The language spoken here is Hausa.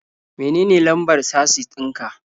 Menene lambar casis ɗin ka?